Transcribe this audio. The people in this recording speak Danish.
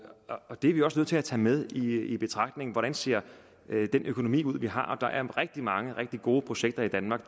og det er vi også nødt til at tage med i betragtningen hvordan ser den økonomi vi har ud der er rigtig mange og gode projekter i danmark